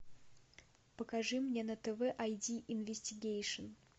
покажи мне на тв ай ди инвестигейшн